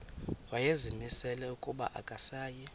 wayezimisele ukuba akasayi